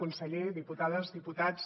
conseller diputades diputats